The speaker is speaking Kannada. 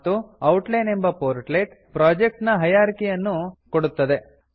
ಮತ್ತು ಔಟ್ಲೈನ್ ಎಂಬ ಪೋರ್ಟ್ಲೆಟ್ ಪ್ರೊಜೆಕ್ಟ್ ನಹೈರಾರ್ಕಿ ಯನ್ನು ಕೊಡುತದೆ